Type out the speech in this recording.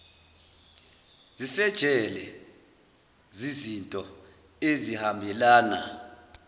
zisejele ziznto ezihambelana